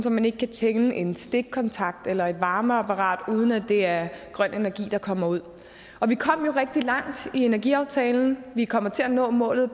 at man ikke kan tænde en stikkontakt eller et varmeapparat uden at det er grøn energi der kommer ud og vi kom jo rigtig langt i energiaftalen vi kommer til at nå målet i